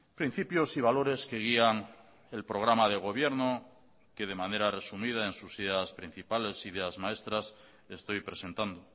principios y valores que guían el programa de gobierno que de manera resumida en sus ideas principales ideas maestras estoy presentando